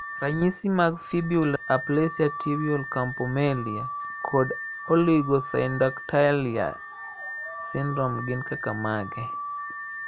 Ranyisi mag Fibular aplasia, tibial campomelia, kod oligosyndactyly syndrome gin kaka mage?